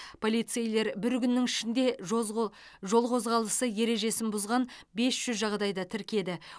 полицейлер бір күннің ішінде жоз қо жол қозғалысы ережесін бұзған бес жүз жағдайды тіркеді